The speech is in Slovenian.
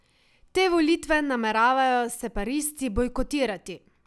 Te volitve nameravajo separatisti bojkotirati.